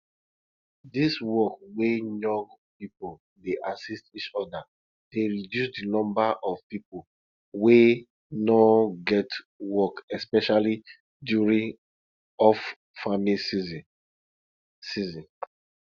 dis work wey young people dey assist each other dey reduce di number of people wey no get work especially during offfarming season season